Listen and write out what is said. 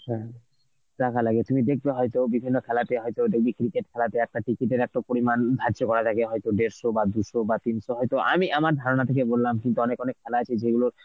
হ্যাঁ টাকা লাগে. তুমি দেখবে হয়তো বিভিন্ন খেলাতে হয়তো দেখবে cricket খেলাতে একটা ticket এর একটা পরিমাণ ধার্য করা থাকে হয়তো দেড়শ বা দুশো বা তিনশো হয়তো আমি আমার ধারণা থেকে বললাম কিন্তু অনেক অনেক খেলা আছে যেগুলো